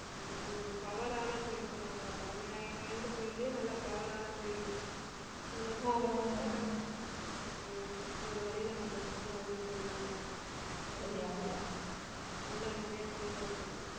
அஹ் ஒரு power ஆன கோயில்ன்னு சொல்லுவாங்கல்ல பழமை வாய்ந்த கோயில்லயே நல்ல power ஆன கோயில் அந்த சாமி கும்பிட்டா கண்டிப்பா நம்மக்கு ஒரு வழியில நம்மளுக்கு வந்து அருள் புரிவாங்க அந்தமாதிரியே நல்லா நிறைய கோயில்லாம் இருக்குது